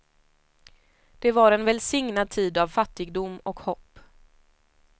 Det var en välsignad tid av fattigdom och hopp.